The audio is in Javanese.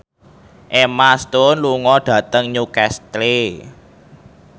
Emma Stone lunga dhateng Newcastle